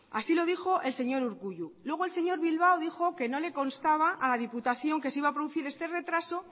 así lo dijo el señor urkullu luego el señor bilbao dijo que no le constaba a la diputación que se iba a producir este retraso